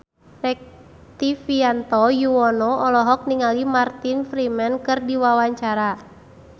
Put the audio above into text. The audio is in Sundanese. Rektivianto Yoewono olohok ningali Martin Freeman keur diwawancara